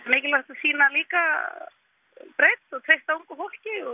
mikilvægt að sýna líka breidd og treysta ungu fólki og